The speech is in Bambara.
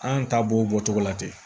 An ta b'o bɔcogo la ten